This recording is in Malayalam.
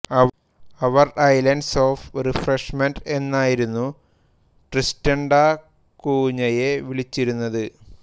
അവർ ഐലന്റ്സ് ഓഫ് റിഫ്രഷ്മെന്റ് എന്നായിരുന്നു ട്രിസ്റ്റൻ ഡാ കൂഞ്ഞയെ വിളിച്ചിരുന്നത്